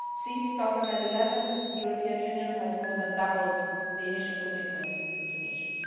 Since 2011 the European Union has more than doubled the initial commitments to Tunisia.